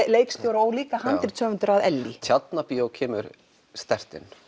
leikstjóri og líka handritshöfundur af Ellý Tjarnarbíó kemur sterkt inn